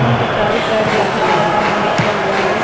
यहां पे चारों साइड काफी सारा सामान रखा हुआ है ।